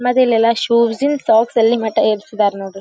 ಮತ್ತಿಲ್ಲೆಲ್ಲಾ shoes ಇಂದ socks ಎಲ್ಲಿ ಮಟ್ಟ ಏರಸಿದರ್ ನೋಡ್ರಿ.